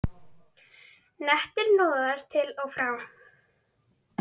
Nettir hnoðrar til og frá.